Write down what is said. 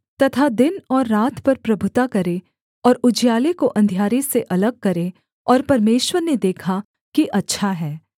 तथा दिन और रात पर प्रभुता करें और उजियाले को अंधियारे से अलग करें और परमेश्वर ने देखा कि अच्छा है